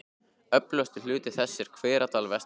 Öflugasti hluti þess er í Hveradal vestan við